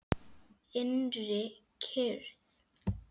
Innri kyrrð.